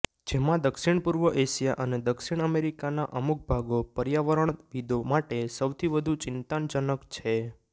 જેમાં દક્ષિણપૂર્વ એશિયા અને દક્ષિણ અમેરિકાના અમુકભાગો પર્યાવરણવિદો માટે સૌથી વધુ ચિંતાજનક છે